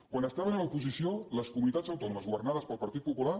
quan estaven a l’oposició les comunitats autònomes governades pel partit popular